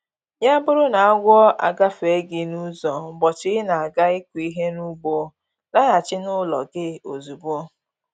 Ya bụrụ n'agwọ agafee gị n'ụzọ ụbọchị ị na-aga ịkụ ihe n'ugbo, laghachi n'ụlọ gị ozugbo